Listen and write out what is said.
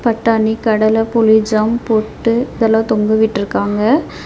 பட்டாணி கடல புலி ஜாம் போட்டு இதுலாம் தொங்க விட்டுருக்காங்க.